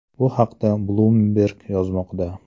Bu haqda Bloomberg yozmoqda .